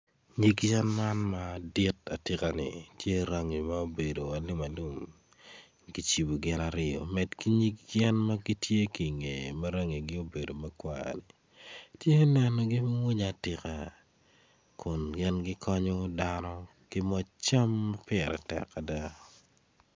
Nyig yen man madit matye ka en tye matye rangi ma obedo alum alum, kicibo gin aryo med ki nyig yen magitye ki nge ma rangi gi obedo makwar, tye man magimwonya atika, kun gin kikonyo dano ki macam pire tek ada.